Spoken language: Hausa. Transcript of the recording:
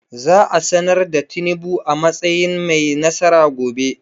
Za a sanar da Tinubu a matsayin mai nasara gobe.